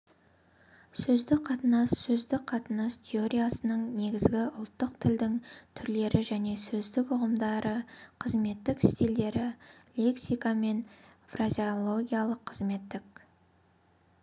сөздік қатынас сөздік қатынас теориясының негізгі ұлттық тілдің түрлері және сөздің ұғымдары қызметтік стильдері лексика және фразеология қызметтік